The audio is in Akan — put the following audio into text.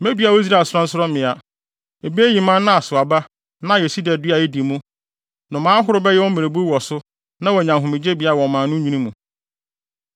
Medua wɔ Israel sorɔnsorɔmmea, ebeyiyi mman na asow aba na ayɛ sida dua a edi mu. Nnomaa ahorow bɛyɛ wɔn mmerebuw wɔ so na wɔanya ahomegyebea wɔ mman no nwini mu.